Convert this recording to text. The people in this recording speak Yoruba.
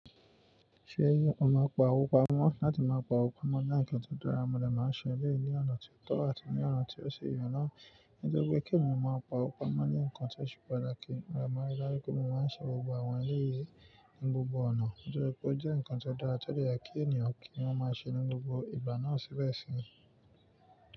Ṣé o máa n pa owó pamọ́? Láti máa pa owó pamọ́ jẹ́ ǹkan tó dára, mo lè máa ṣe eléyìí ní ọ̀nà tó tọ́ àti ní ọ̀nà tí ó ṣe èyàn ná. Nítorí pé kí ènìyàn má pa owó pamọ́ ni ǹkan tí ó ṣe pàtàkì, mo lè máa rí dájú pé mo máa ṣe gbogbo àwọn eléyìí ní gbogbo ọ̀nà. Nítorí pé ó jẹ́ ǹkan tó dára tó o dẹ jẹ kí ènìyàn kí wọ́n má ṣe ní gbogbo ìgbà náà síbẹ̀ sí.